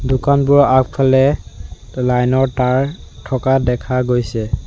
দোকানবোৰৰ আগফালে লাইন ৰ তাঁৰ থকা দেখা গৈছে।